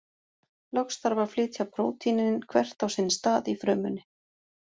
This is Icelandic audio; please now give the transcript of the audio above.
Loks þarf að flytja prótínin hvert á sinn stað í frumunni.